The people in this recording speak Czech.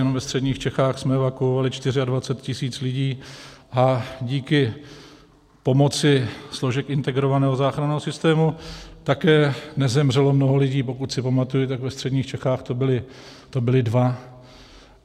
Jenom ve středních Čechách jsme evakuovali 24 tisíc lidí a díky pomoci složek integrovaného záchranného systému také nezemřelo mnoho lidí, pokud si pamatuji, tak ve středních Čechách to byli dva.